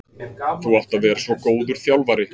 Þú átt að vera svo góður þjálfari.